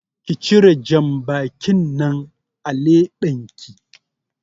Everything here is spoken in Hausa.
Ki cire janbakin nan a leɓenki